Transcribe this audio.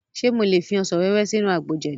Ṣe mo lè fi ọsàn wẹ́wẹ́ sínú àgbo jẹ̀dí?